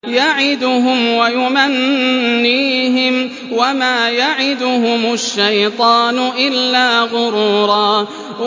يَعِدُهُمْ وَيُمَنِّيهِمْ ۖ وَمَا يَعِدُهُمُ الشَّيْطَانُ إِلَّا غُرُورًا